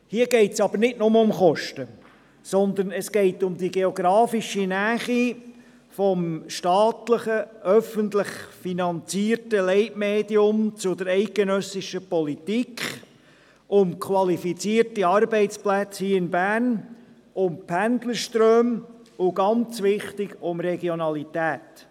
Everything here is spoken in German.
Hier geht es jedoch nicht mehr nur um Kosten, sondern es geht um die geografische Nähe des staatlichen, öffentlich finanzierten Leitmediums zur eidgenössischen Politik, um qualifizierte Arbeitsplätze hier in Bern, um Pendlerströme und – ganz wichtig – um Regionalität.